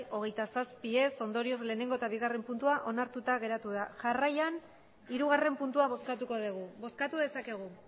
hogeita zazpi ondorioz batgarrena eta bigarrena puntua onartuta geratuta da jarraian hirugarrena puntua bozkatuko dugu bozkatu dezakegu